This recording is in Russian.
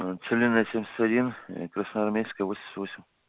целинная семьдесят один красноармейская восемьдесят восемь